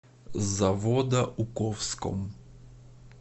заводоуковском